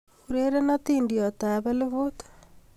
Ureren adindiot ab elfut